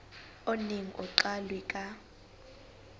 o neng o qalwe ka